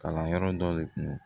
Kalanyɔrɔ dɔ de kun